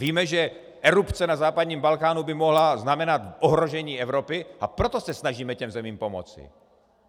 Víme, že erupce na západním Balkánu by mohla znamenat ohrožení Evropy, a proto se snažíme těm zemím pomoci.